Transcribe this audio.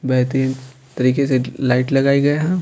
बेहतरीन तरीके से लाइट लगाई गई है।